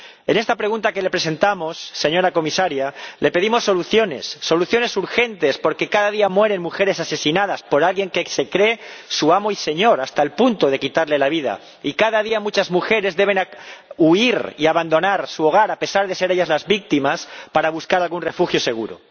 En esta pregunta que le presentamos, señora Comisaria, le pedimos soluciones, soluciones urgentes, porque cada día mueren mujeres asesinadas por alguien que se cree su amo y señor, hasta el punto de quitarles la vida, y, cada día, muchas mujeres deben huir y abandonar su hogar, a pesar de ser ellas las víctimas, para buscar algún refugio seguro.